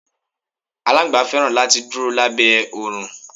Aláńgbá fẹ́ràn láti dúró lábẹ́ oòrùn.